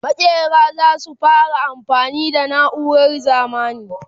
makera zasu fara amfani da nauran zamani